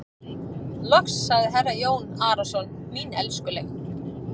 Loks sagði herra Jón Arason:-Mín elskuleg.